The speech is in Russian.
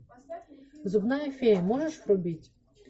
зубная фея можешь врубить